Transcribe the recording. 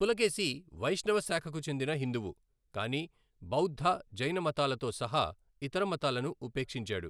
పులకేశి వైష్ణవ శాఖకు చెందిన హిందువు, కాని బౌద్ధ, జైనమతాలతో సహా ఇతర మతాలను ఉపేక్షించాడు.